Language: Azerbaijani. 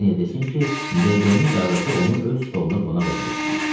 Erneyə desin ki, D.B-nin qardaşı onu öz stoluna qonaq eləmək istəyir.